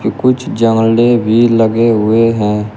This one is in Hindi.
कुछ जाले भी लगे हुए है।